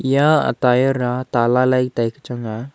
ya a tyre a ta lailai tai kya hang a.